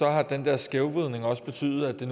at denne skævvridning har betydet at det